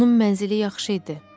Onun mənzili yaxşı idi.